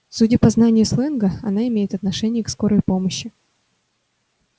судя по знанию сленга она имеет отношение к скорой помощи